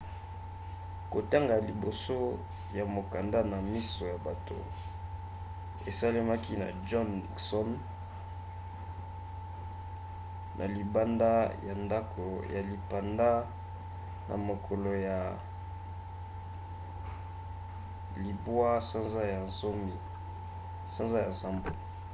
kotanga ya liboso ya mokanda na miso ya bato esalemaki na john nixon ne libanda ya ndako ya lipanda na mokolo ya 8 sanza ya nsambo